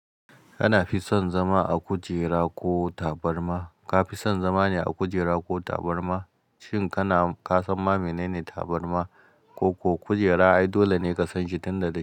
Kana fi son zama a kujera ko tabarma? Ka fi son zama ne a kujera ko tabarma? Shin kana, ka san ma menene tabarma? Ko, ko kujera ai dole ne ka san shi tun da dai.